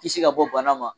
Kisi ka bɔ bana ma